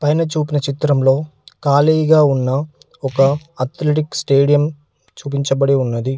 పైన చూపిన చిత్రంలో కాలిగా ఉన్న ఒక అథ్లెటిక్ స్టేడియం చూపించబడి ఉన్నది.